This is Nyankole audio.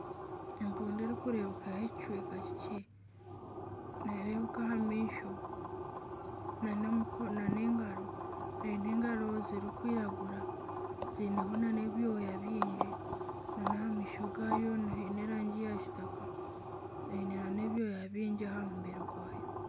Empundu erikureebekaho ekicweka kikye nereebeka aha maisho na n'engaro eine engaro zirikwiragura zineho na n'ebyooya byingi n'aha maisho gaayo haine erangi ya kitaka eine n'ebyooya byingi aha mubiri gwayo.